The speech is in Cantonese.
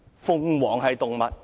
鳳凰是動物？